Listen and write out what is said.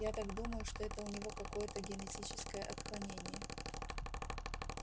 я так думаю что это у него какое-то генетическое отклонение